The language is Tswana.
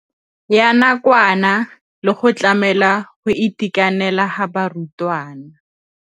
ya nakwana le go tlamela go itekanela ga barutwana.